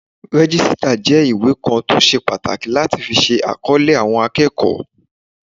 Rẹ́jísítà jẹ́ ìwé kan tó ṣe pàtàkì láti fi ṣe àkọlé àwọn akẹ́kọ̀ọ́